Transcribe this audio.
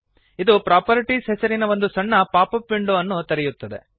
ಇದು ಪ್ರಾಪರ್ಟೀಸ್ ಹೆಸರಿನ ಒಂದು ಸಣ್ಣ ಪಾಪಪ್ ವಿಂಡೋ ಅನ್ನು ತೆರೆಯುತ್ತದೆ